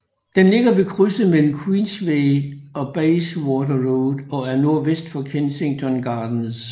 Den ligger ved krydset mellem Queensway og Bayswater Road og er nordvest for Kensington Gardens